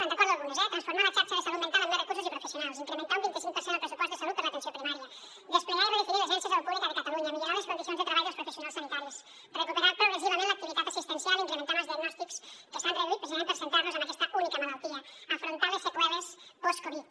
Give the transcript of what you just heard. en recordo algunes transformar la xarxa de salut mental amb més recursos i professionals incrementar un vint i cinc per cent el pressupost de salut per a l’atenció primària desplegar i redefinir l’agència de salut pública de catalunya millorar les condicions de treball dels professionals sanitaris recuperar progressivament l’activitat assistencial incrementant els diagnòstics que s’han reduït precisament per centrar nos en aquesta única malaltia afrontar les seqüeles postcovid